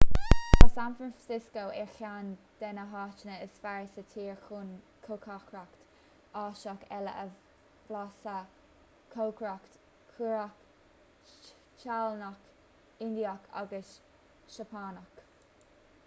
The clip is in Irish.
tá san francisco ar cheann de na háiteanna is fearr sa tír chun cócaireacht áiseach eile a bhlaiseadh cócaireacht chóiréach téalannach indiach agus seapánach